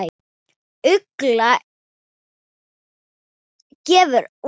Ugla gefur út.